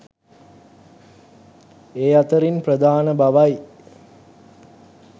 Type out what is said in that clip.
ඒ අතරින් ප්‍රධාන බවයි